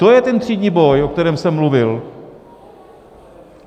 To je ten třídní boj, o kterém jsem mluvil.